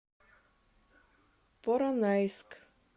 поронайск